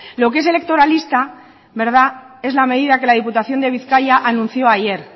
lo que es electoralista es la medida que la diputación de bizkaia anunció ayer